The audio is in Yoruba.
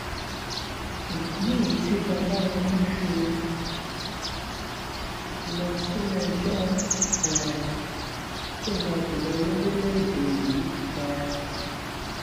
ìdí nìyí tí babayémi fi lọ síléẹjọ um tó ga jù lọ lórílẹèdè yìí um